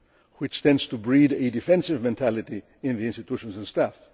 blame, which tends to breed a defensive mentality in the institutions and